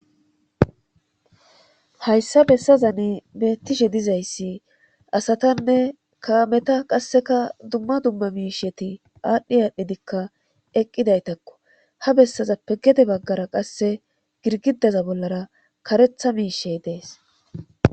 hayssa bessazan bettishe dizayssi asatanne kaameta qasseka dumma dumma miisheti aadhdhi aadhdhidikka eqqidaytakko ha bessazappe gede baggara qasse girgidaza bollara karetha miishey dees